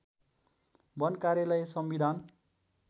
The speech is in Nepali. वन कार्यालय संविधान